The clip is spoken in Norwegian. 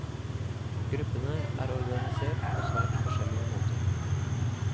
Gruppene er organisert på svært forskjellige måter.